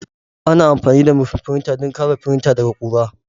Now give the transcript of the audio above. Ana amfani da murfin firinta don kare firinta daga ƙura.